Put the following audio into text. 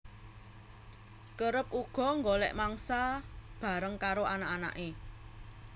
Kerep uga nggolek mangsa bareng karo anak anake